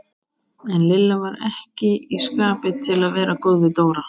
En Lilla var ekki í skapi til að vera góð við Dóra.